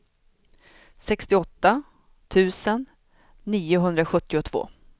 sextioåtta tusen niohundrasjuttiotvå